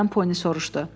Geri qayıdan Poni soruşdu.